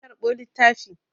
Na karɓo littafi.